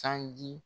Sanji